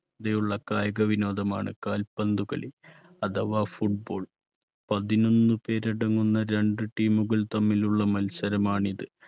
തയുള്ള കായിക വിനോദമാണ് കാൽ പന്തുകളി അഥവാ football. പതിനൊന്നു പേരടങ്ങുന്ന രണ്ട് team കൾ തമ്മിലുള്ള മത്സരമാണിത്.